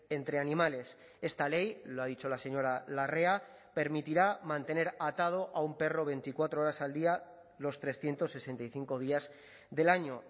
entre animales esta ley lo ha dicho la señora larrea permitirá mantener atado a un perro veinticuatro horas al día los trescientos sesenta y cinco días del año